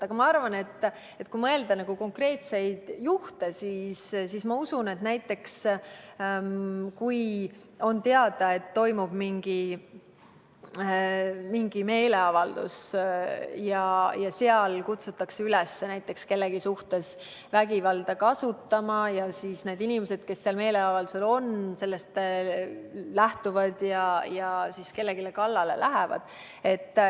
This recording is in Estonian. Aga kui mõelda konkreetsete juhtude peale, siis ma usun, et kui on teada, et toimub mingisugune meeleavaldus ja seal kutsutakse üles kellegi suhtes vägivalda kasutama ja siis need inimesed, kes sellel meeleavaldusel osalevad, sellest lähtuvad ja lähevadki kellelgi kallale.